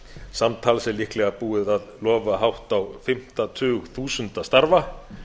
samtals er líklega búið að lofa hátt á fimmta tug þúsunda starfa